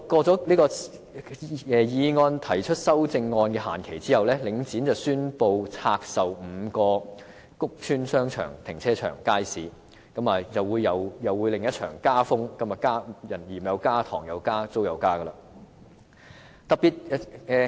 就議案提出修正案的限期屆滿後，領展宣布拆售5個屋邨商場、停車場、街市，勢必掀起另一場加風，"鹽又加、糖又加、租又加"。